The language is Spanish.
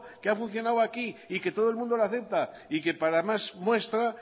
que ha funcionado aquí y que todo el mundo lo acepta y que para más muestra